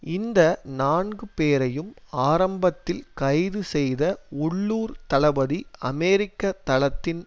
இந்த நான்கு பேரையும் ஆரம்பத்தில் கைது செய்த உள்ளூர் தளபதி அமெரிக்க தளத்தின்